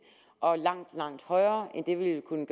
og langt langt højere end det vi vil kunne